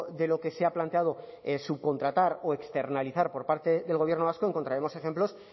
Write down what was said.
de lo que se ha planteado subcontratar o externalizar por parte del gobierno vasco encontraremos ejemplos